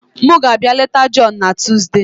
M ga-abịa leta John na Tuesday.